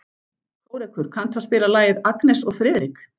Kórekur, kanntu að spila lagið „Agnes og Friðrik“?